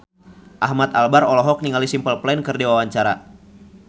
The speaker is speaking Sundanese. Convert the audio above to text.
Ahmad Albar olohok ningali Simple Plan keur diwawancara